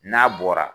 N'a bɔra